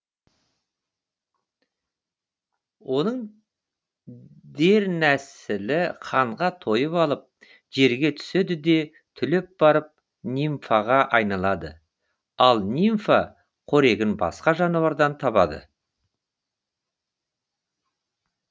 оның дернәсілі қанға тойып алып жерге түседі де түлеп барып нимфаға айналады ал нимфа қорегін басқа жануардан табады